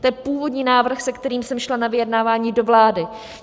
to je původní návrh, s kterým jsem šla na vyjednávání do vlády.